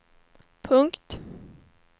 punkt